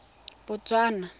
botswana